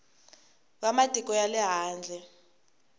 va matiko ya le handle